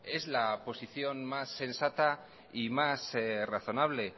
es la posición más sensata y más razonable